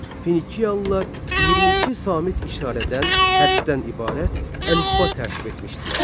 Finiyalılar 22 samit işarədən hərfdən ibarət əlifba tərtib etmişdilər.